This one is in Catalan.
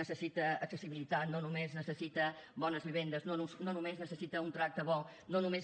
necessita accessibilitat no només necessita bones vivendes no només necessita un tracte bo no només